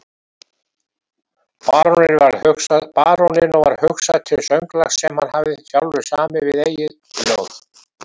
Baróninum varð hugsað til sönglags sem hann hafði sjálfur samið við eigið ljóð.